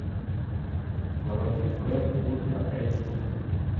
заводи фрэнк ультра эйч ди